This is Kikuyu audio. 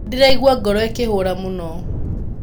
Nĩ ndĩraigwa ngoro ĩkĩhũra muno.